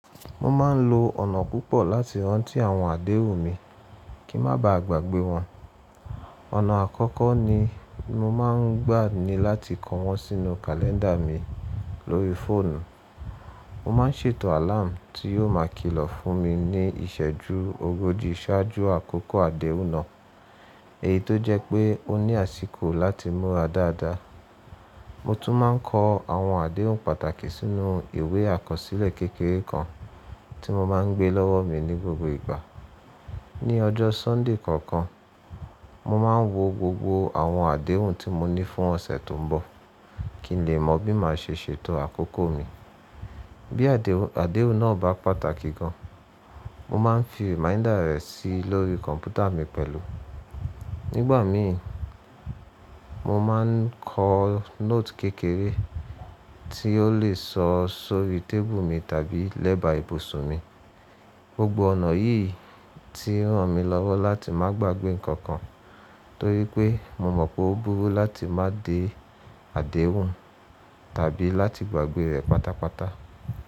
Mo máa ń lo ọ̀nà púpọ̀ láti rántí àwọn àdéhùn mi kí má ba à gbàgbé wọn. Ọ̀nà àkọ́kọ́ ni mo máa ń gbà ni láti ko wọ́n sínú kàlẹ́ńdà mi lórí fóònù. Mo máa ń ṣètò àláàmù tí yóò máa kìlọ̀ fún mi ní ìṣẹ́jú ogójì ṣáájú àkókò àdéhùn náà, èyí tó jẹ́ pé ó ní àsìkò láti múra dáadáa. Mo tún máa ń ko àwọn àdéhùn pàtàkì sínú ìwé àkọsílẹ̀ kékeré kan tí mo máa ń gbé lọ́wọ́ mi ní gbogbo ìgbà. Ni ọjọ́ Sańdè kọ̀ọ̀kan, mo máa ń wo gbogbo àwọn àdéhùn tí mo ní fún ọ̀sẹ̀ tó ń bọ̀ kí n lè mọ bí màá ṣe ṣètò àkókò mi. Bí àdéhùn náà bá pàtàkì gan, mo máa ń fi rẹ̀máídà rẹ̀ sí lórí kọ̀m̀pútà mi pẹ̀lú. Nígbà mi, mo máa ń ko note kékeré tí ó lè sọ sórí tébù mi tàbí lẹ́bà ibùsùn mi. Gbogbo ọ̀nà yìí ti ràn mí lọ́wọ́ láti má gbagbe nǹkan kan torí pé mo mọ̀ pé ó burú láti má dé àdéhùn tàbí láti gbàgbé rẹ̀ pátápátá.